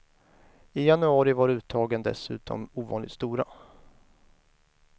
I januari var uttagen dessutom ovanligt stora.